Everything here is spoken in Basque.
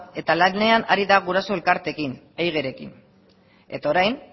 eta lanean ari da guraso elkarteekin eigrekin eta orain